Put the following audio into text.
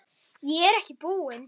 Ég er ekki búinn.